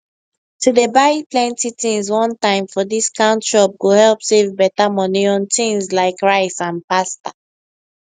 to dey buy plenty things one time for discount shop go help save better money on thiings like rice and pasta